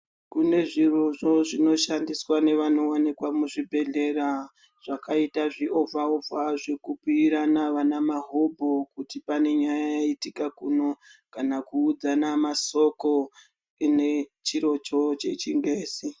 Kune zviroovho zvinoshandiswa nevanowanika muzvibhedhlera zvakaita zviovha ovha zvekubhuyirana vana mahobho kuti pane nyaya yaitika kuno kana kuudzana masoko chine chirocho chechingezi.